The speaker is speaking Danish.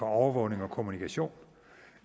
overvågning og kommunikation